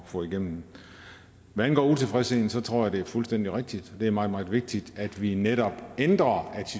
få igennem hvad angår utilfredsheden tror jeg det er fuldstændig rigtigt det er meget meget vigtigt at vi netop ændrer